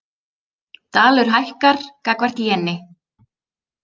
Dalur hækkar gagnvart jeni